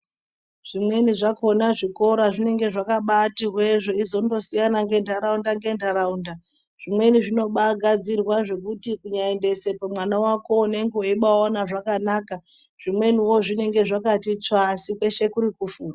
Zvimweni zvakona zvikora zvinonga zvakabati hwe zveindozosiyana ngenharaunda ngenharaunda zvimweni zvinobaagadzirwa zvekuti kunyaendesepo mwana wako unenge eibawaone zvakanaka zvimweniwo zvinenge zvakabatitsvaa asi kweshe kurikufunda.